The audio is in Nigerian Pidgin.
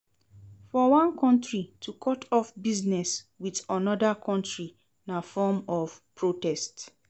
For one country to cut off business with another country na form of protest